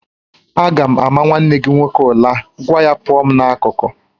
Aga m ama nwanne gị nwoke ula, gwa ya pụọ m n'akụkụ